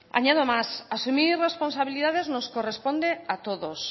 añado más asumir responsabilidades nos corresponde a todos